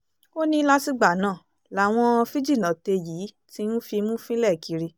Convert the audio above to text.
ó ní látìgbà náà làwọn fíjìnnàte yìí ti ń fimú fínlẹ̀ kiri